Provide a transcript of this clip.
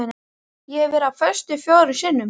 Ég hef verið á föstu fjórum sinnum.